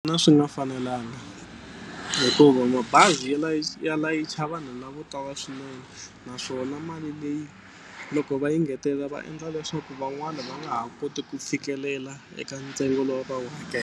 swi nga fanelanga hikuva mabazi ya ya layicha vanhu lavo tala swinene naswona mali leyi loko va yi engetelela va endla leswaku van'wana va nga ha koti ku fikelela eka ntsengo lowu a va wu .